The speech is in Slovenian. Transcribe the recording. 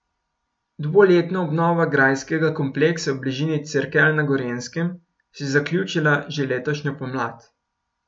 Dvoletna obnova grajskega kompleksa v bližini Cerkelj na Gorenjskem se je zaključila že letošnjo pomlad.